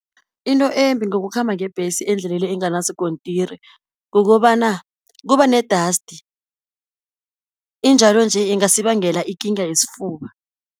Into embi ngokukhamba ngebhesi endleleni enganaskontiri, kukobana kuba ne-dust, injalo-nje ingasi bangela ikinga yesifuba.